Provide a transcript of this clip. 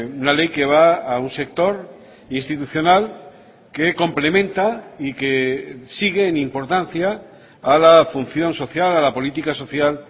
una ley que va a un sector institucional que complementa y que sigue en importancia a la función social a la política social